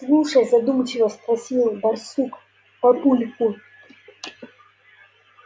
слушай задумчиво спросил барсук папульку